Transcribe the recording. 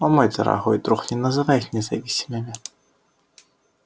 о мой дорогой друг не называйте их независимыми